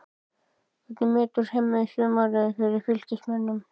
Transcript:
Hvernig metur Hemmi sumarið hjá Fylkismönnum?